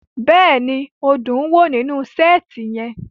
Bẹ́ẹ̀ni, o dun wo ninu seeti yẹn